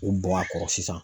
K'o bɔn a kɔrɔ sisan.